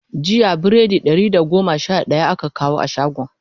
jiya biredi Ɗari da goma Sha daya aka kawo shagon